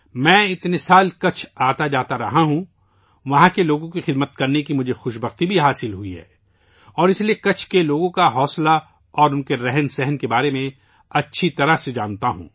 میں اتنے سال سے کچھ آتا اور جا تارہا ہوں، میں خوش قسمت ہوں کہ مجھے وہاں کے لوگوں کی خدمت کرنے کا موقع ملاہے اور اس کے لیے میں کچھ کے لوگوں کے حوصلے اور جذبے کو اچھی طرح جانتا ہوں